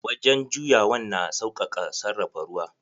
Wajen juyawan na sausaka sarrafa ruwa.